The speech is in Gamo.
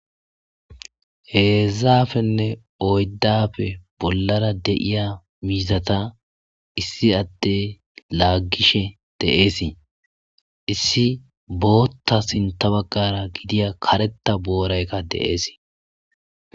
Hezdzdappenne oyddappe bollara da'iya mizzata issiadey lagishi de'ese issi bota sintha bagara gidiya karetha booraykka de'es.